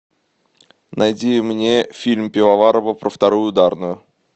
найди мне фильм пивоварова про вторую ударную